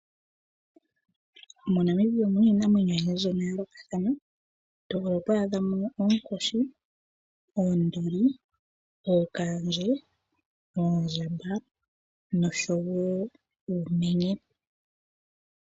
MoNamibia omuna iinamwenyo oyindji ya yoolokathana, to vulu oku adhamo onkoshi, oonduli, ookaandje, oondjamba noshowo uumenye.